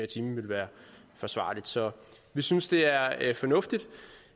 time være forsvarligt så vi synes det er fornuftigt